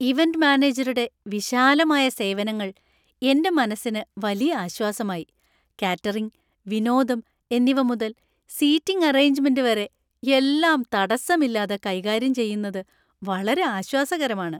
Event മാനേജരുടെ വിശാലമായ സേവനങ്ങൾ എന്‍റെ മനസ്സിന് വലിയ ആശ്വാസമായി. കാറ്ററിംഗ്, വിനോദം എന്നിവ മുതൽ സീറ്റിംഗ് അറേഞ്ച്മെന്‍റ് വരെ എല്ലാം തടസ്സമില്ലാതെ കൈകാര്യം ചെയ്യുന്നത് വളരെ ആശ്വാസകരമാണ്.